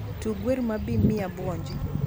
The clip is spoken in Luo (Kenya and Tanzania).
tug wer ma bir miya abuonji